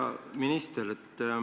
Hea minister!